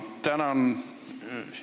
Tänan!